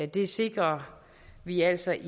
det sikrer vi altså ikke